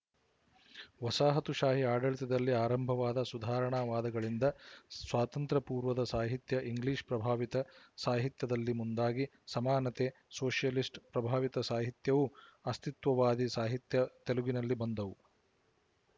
ವಸಾಹತುಶಾಹಿ ಆಡಳಿತದಲ್ಲಿ ಆರಂಭವಾದ ಸುಧಾರಣಾವಾದಗಳಿಂದ ಸ್ವಾತಂತ್ರ್ಯಪೂರ್ವದ ಸಾಹಿತ್ಯ ಇಂಗ್ಲಿಶ ಪ್ರಭಾವಿತ ಸಾಹಿತ್ಯದಲ್ಲಿ ಮುಂದಾಗಿ ಸಮಾನತೆ ಸೋಶಿಯಲಿಸ್ಟ್‌ ಪ್ರಭಾವಿತ ಸಾಹಿತ್ಯವೂ ಅಸ್ತಿತ್ವವಾದಿ ಸಾಹಿತ್ಯ ತೆಲುಗಿನಲ್ಲಿ ಬಂದವು